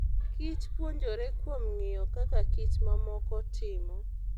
Kich puonjore kuom ng'iyo kaka kich mamoko timo.